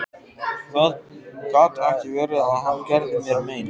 Það gat ekki verið að hann gerði mér mein.